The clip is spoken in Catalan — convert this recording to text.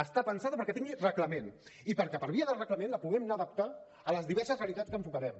està pensada perquè tingui reglament i perquè per via del reglament la puguem adaptar a les diverses realitats que enfocarem